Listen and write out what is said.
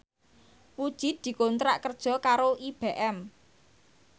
Puji dikontrak kerja karo IBM